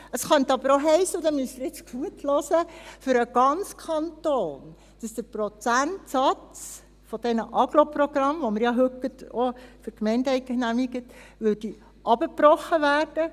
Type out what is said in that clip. Es könnte aber für den ganzen Kanton auch heissen – und hier müssen Sie jetzt gut zuhören –, dass der Prozentsatz dieser Agglo-Programme, die wir ja heute für die Gemeinden ebenfalls gerade genehmigt haben, heruntergebrochen würde.